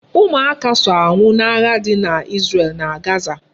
Ụmụaka so anwụ n'agha dị na Izrel na Gaza